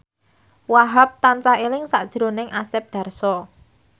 Wahhab tansah eling sakjroning Asep Darso